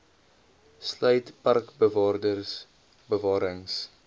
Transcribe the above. sluit parkbewaarders bewarings